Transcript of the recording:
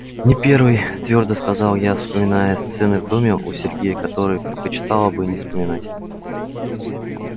не первый твёрдо сказал я вспоминая сцены в доме у сергея которые предпочитала бы не вспоминать